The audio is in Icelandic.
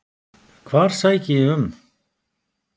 Hvar sæki ég um?